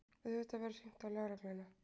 Auðvitað verður hringt á lögregluna.